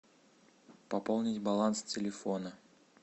пополнить баланс телефона